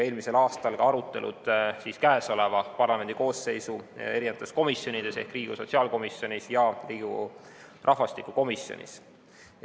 Eelmisel aastal olid arutelud käesoleva parlamendikoosseisu eri komisjonides ehk Riigikogu sotsiaalkomisjonis ja Riigikogu rahvastikukomisjonis.